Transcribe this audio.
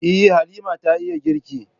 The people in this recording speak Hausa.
Eh, Halima ta iya girki.